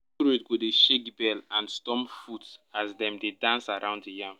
go dey shake bell and stomp foot as dem dey dance around the yam.